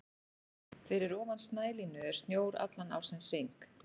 Fyrir ofan snælínu er snjór allan ársins hring.